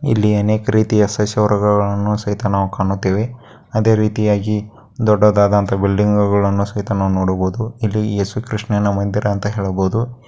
ಇಲ್ಲಿ ಅನೇಕ ರೀತಿಯ ಶೇಷಾವರಗಳ್ಳನ್ನ ಸಹಿತ ನಾವು ಕಾಣುತೇವೆ ಅದೇ ರೀತಿಯಾಗಿ ದೊಡ್ಡದಂತಹ ಬಿಲ್ಡಿಂಗ್ಗಳು ಕೂಡ ಸಹಿತ ನೋಡಬಹುದು ಇಲ್ಲಿ ಯೇಸು ಕೃಷ್ಣನ ಮಂದಿರ ಅಂತ ನೋಡಬಹುದು.